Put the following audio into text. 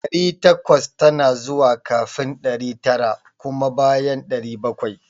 Ɗari takwas tana zuwa kafin ɗari tara kuma a bayan ɗari bakwai